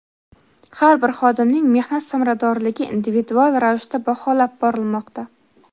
har bir xodimning mehnat samaradorligi individual ravishda baholab borilmoqda.